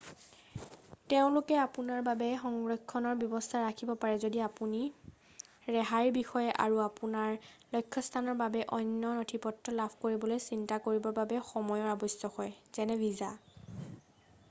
তেওঁলোকে আপোনাৰ বাবে সংৰক্ষণৰ ব্যৱস্থাও ৰাখিব পাৰে যদি আপুনি ৰেহাইৰ বিষয়ে আৰু আপোনাৰ লক্ষ্যস্থানৰ বাবে অন্য নথিপত্ৰ লাভ কৰিবলৈ চিন্তা কৰিবৰ বাবে সময়ৰ আৱশ্যক হয় যেনে ভিছা।